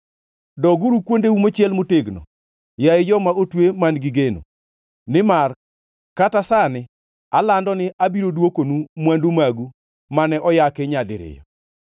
Doguru kuondeu mochiel motegno, yaye joma otwe man-gi geno; nimar kata sani alando ni abiro dwokonu mwandu magu mane oyaki nyadiriyo.